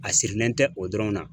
A sirilen tɛ o dɔrɔn na.